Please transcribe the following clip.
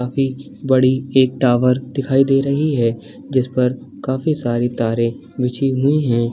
काफी बड़ी एक टावर दिखाई दे रही है जिस पर काफी सारी तारे बिछी हुई हैं।